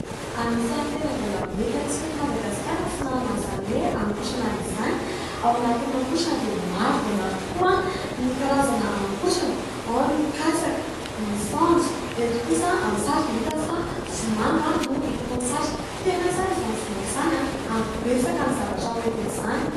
Anisan'ny tena mbola mety amintsika eto Madagasikara ny fihinanana an'izany hoe haninkotrana izany. Ao anatin'ny haninkotrana dia maro dia maro tokoa ny karazana haninkotrana : ao ny katsaka, ny saonjo. Eto kosa, amin'ny sary dia hita fa vomanga no hita eto amin'ny sary, tena tsara izany vomanga izany ary betsaka ny zavatra hoentin'izany.